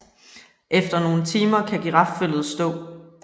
Efter nogle timer kan girafføllet stå